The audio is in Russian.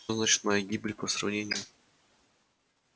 что значит моя гибель по сравнению